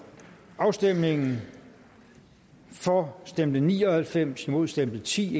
afstemningen for stemte ni og halvfems imod stemte ti